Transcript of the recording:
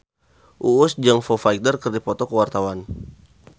Uus jeung Foo Fighter keur dipoto ku wartawan